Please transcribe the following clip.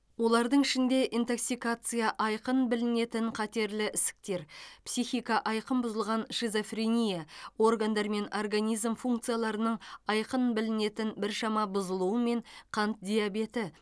олардың ішінде интоксикация айқын білінетін қатерлі ісіктер психика айқын бұзылған шизофрения органдар мен организм функцияларының айқын білінетін біршама бұзылуымен қант диабеті